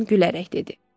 Dunkan gülərək dedi.